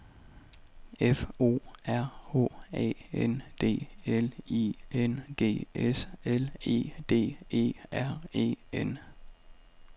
F O R H A N D L I N G S L E D E R E N